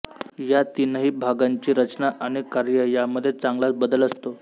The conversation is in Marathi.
या तीनही भागांची रचना आणि कार्य यामध्ये चांगलाच बदल असतो